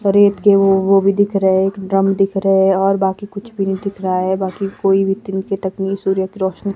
रेत के वो वो भी दिख रहे है एक ड्रम दिख रहे है और बाकी कुछ भी नहीं दिख रहा है बाकी कोई भी तिनके तक नहीं सूर्य की रोशनी --